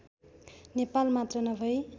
नेपाल मात्र नभई